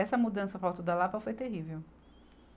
Essa mudança para o alto da Lapa foi terrível.